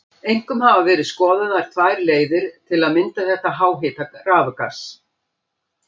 Einkum hafa verið skoðaðar tvær leiðir til að mynda þetta háhita rafgas.